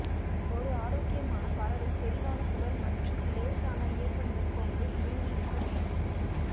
ஒரு ஆரோக்கியமான பறவை தெளிவான குரல் மற்றும் இலேசான இயக்கங்கள் கொண்டு இயங்கி இருக்க வேண்டும்